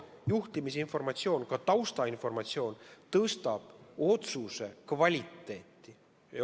Juhtimisinformatsioon, ka taustainformatsioon parandab otsuse kvaliteeti.